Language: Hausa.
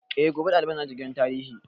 Eh, gobe ɗaliban za su je gidan tarihi